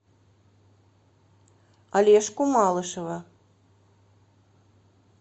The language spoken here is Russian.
олежку малышева